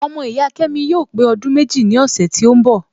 Ọmọ ìyá kẹ́míkà yóò pé ọdún méjì ní ọ̀sẹ̀ tí ó ń bọ̀